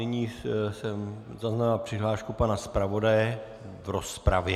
Nyní jsem zaznamenal přihlášku pana zpravodaje v rozpravě.